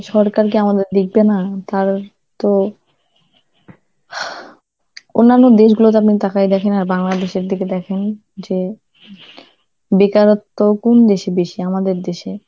সরকার কি আমাদের দেখবে না? তাহলে তো, অন্যান্য দেশগুলো যেমন তাকায় দেখে না, Bangladesh এর দিকে দেখেন যে বেকারত্ব কোন দেশে বেশি? আমাদের দেশে.